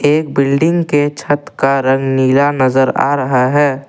एक बिल्डिंग के छत का रंग नीला नजर आ रहा है।